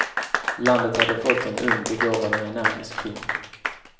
Landet hade fått en ung, begåvad och energisk kung.